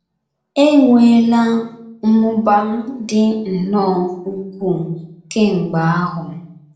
E nweela mmụba dị nnọọ ukwuu kemgbe ahụ!